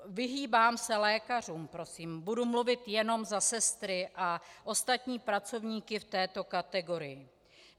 Vyhýbám se lékařům, prosím, budu mluvit jenom za sestry a ostatní pracovníky v této kategorii.